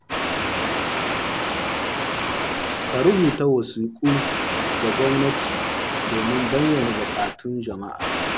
Ka rubuta wasiku ga gwamnati domin bayyana bukatun jama’a.